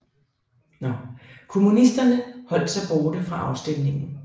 Kommunisterne holdt sig borte fra afstemningen